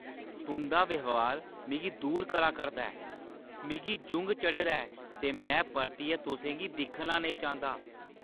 तुंʼदा ब्यहार मिगी दूर करा करदा ऐ। मिगी जुंग चढ़े दा ऐ ते में परतियै तुसें गी दिक्खना नेईं चांह्‌दा!